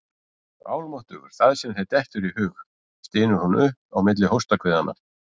Almáttugur, það sem þér dettur í hug, stynur hún upp á milli hóstahviðanna.